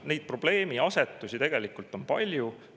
Neid probleemiasetusi tegelikult on palju.